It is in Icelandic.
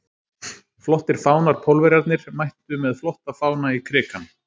Flottir fánar Pólverjarnir mættu með flotta fána í Krikann.